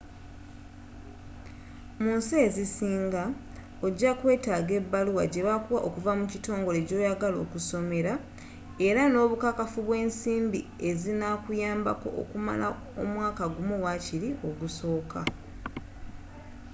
munsi ezisinga ogyakwetaaga ebaluwa gyebakuwa okuva mu kitongole gyoyagala okusomera era n'obukakafu bw'ensimbi ezinakuyambako okumala omwaka gumu wakiri ogusooka